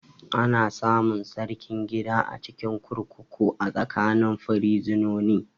Ana samun Sarkin gida a cikin kurkuku a tsakanin firizinoni